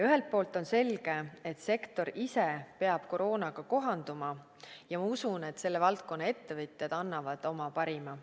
Ühelt poolt on selge, et sektor ise peab koroonaga kohanduma, ja ma usun, et selle valdkonna ettevõtjad annavad oma parima.